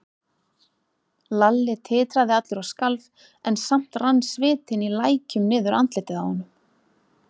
Lalli titraði allur og skalf, en samt rann svitinn í lækjum niður andlitið á honum.